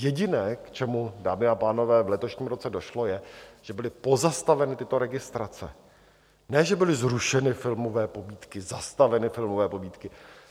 Jediné, k čemu, dámy a pánové, v letošním roce došlo, je, že byly pozastaveny tyto registrace, ne že byly zrušeny filmové pobídky, zastaveny filmové pobídky.